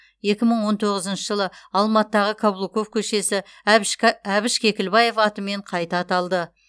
екі мың он тоғызыншы жылы алматыдағы каблуков көшесі әбіш кекілбаев атымен қайта аталды